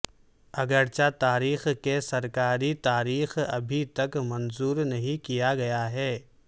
اگرچہ تاریخ کے سرکاری تاریخ ابھی تک منظور نہیں کیا گیا ہے